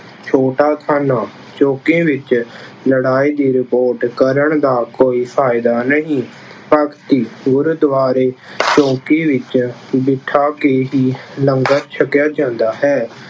ਛੋਟਾ ਥਾਣਾ- ਚੌਂਕੀ ਵਿੱਚ ਲੜਾਈ ਦੀ ਰਿਪੋਰਟ ਕਰਨ ਦਾ ਕੋਈ ਫਾਇਦਾ ਨਹੀਂ। ਭਗਤੀ- ਗੁਰਦੁਆਂਰੇ ਚੌਂਕੀ ਵਿੱਚ ਬਿਠਾ ਕੇ ਹੀ ਲੰਗਰ ਛਕਿਆ ਜਾਂਦਾ ਹੈ।